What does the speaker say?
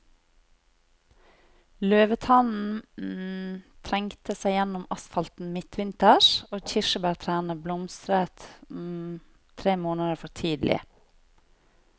Løvetannen trengte seg gjennom asfalten midtvinters, og kirsebærtrærne blomstret tre måneder for tidlig.